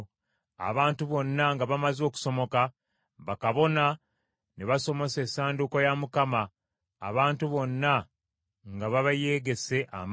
Abantu bonna nga bamaze okusomoka, bakabona ne basomosa Essanduuko ya Mukama abantu bonna nga babayeegese amaaso.